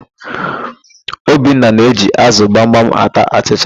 Obinna na-eji ázụ̀ gbamgbam ata achịcha.